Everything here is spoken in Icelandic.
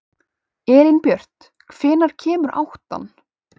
Elínbjört, hvenær kemur áttan?